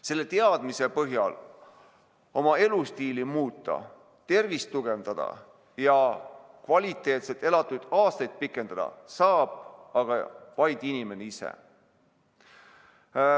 Selle teadmise põhjal oma elustiili muuta, tervist tugevdada ja kvaliteetselt elatud elu pikendada saab aga vaid inimene ise.